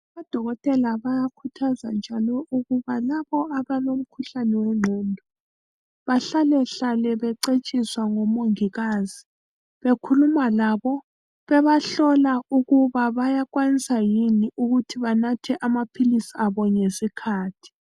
Odokotela bayakhuthaza njalo ukuba labo abalomkhuhlane wengqondo bahlalahlale becetshiswa ngomongikazi, bekhuluma labo bebahlola ukuba bayakwanisa yini ukuba banathe amaphilisi abo ngesikhathi.